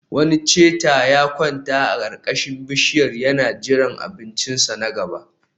Wani cheetah ya kwanta a karkashin bishiyar yana jiran abincinsa na gaba